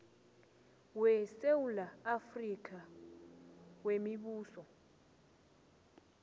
wesewula afrika wemibuso